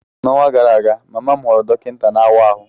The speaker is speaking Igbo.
N'ọnwa gara aga, mama m ghọrọ dọkịta na-awa ahụ.